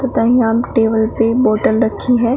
यहां टेबल पे बोटल रखी है।